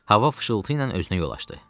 Hava fısıltı ilə özünə yol açdı.